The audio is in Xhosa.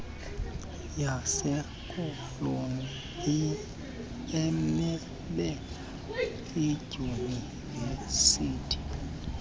yasekoloni emele iidyunivesithi